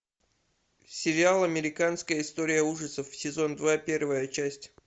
сериал американская история ужасов сезон два первая часть